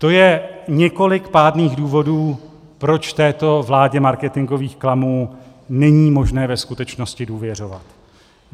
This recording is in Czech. To je několik pádných důvodů, proč této vládě marketingových klamů není možné ve skutečnosti důvěřovat.